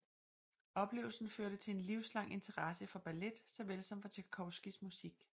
Oplevelsen førte til en livslang interesse for ballet såvel som for Tjajkovskijs musik